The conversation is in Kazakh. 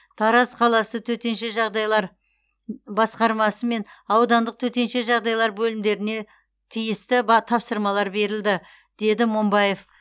тараз қаласы төтенше жағдайлар басқармасы мен аудандық төтенше жағдайлар бөлімдеріне тиісті тапсырмалар берілді деді момбаев